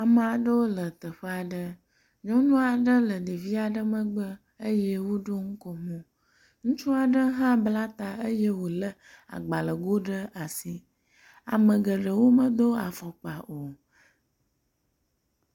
Ame aɖewo le teƒe aɖe. Nyɔnu aɖe le ɖevi aɖe megbe eye woɖo nukomo. Ŋutsu aɖe hã bla ta eye wo le agbalego ɖe asi. Ame geɖewo medo afɔkpa o.